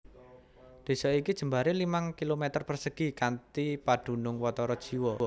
Désa iki jembaré limang km persegi kanthi padunung watara jiwa